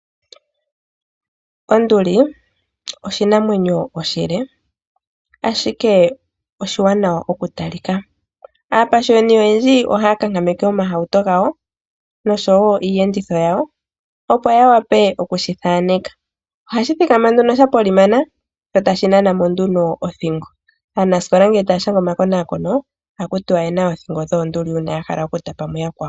Onduli oshinamwenyo oshile ashike oshiwanawa oku talika, aapashiwani oyendji ohaya kakameke omahauto gawo noshowo iiyenditho yawo opo ya wape okushi thaaneka, ohashi thikama nduno sha polimana sho tashi nana mo nduno othingo aanasikola ngele taya shanga omakonakono ohaku tiwa oye na oothingo dhoonduli ya hala oku tapa mu yakwawo.